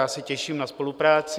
Já se těším na spolupráci.